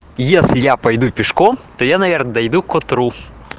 если я пойду пешком то я наверное пойду к утру